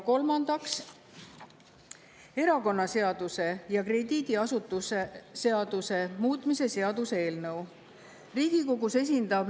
Kolmandaks, erakonnaseaduse ja krediidiasutuse seaduse muutmise seaduse eelnõu.